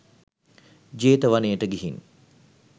ජේතවනයට ගිහින්